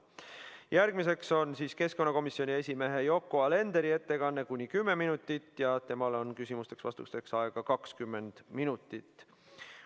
Järgmiseks on keskkonnakomisjoni esimehe Yoko Alenderi ettekanne, kuni 10 minutit, ja temale on küsimusteks-vastusteks aega 20 minutit.